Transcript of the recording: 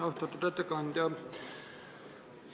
Austatud ettekandja!